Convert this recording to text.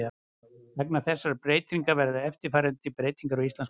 Vegna þessarar breytingar verða eftirfarandi breytingar á Íslandsmótinu: